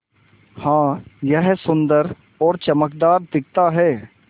हाँ यह सुन्दर और चमकदार दिखता है